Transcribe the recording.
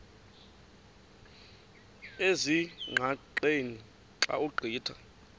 ezingqaqeni xa ugqitha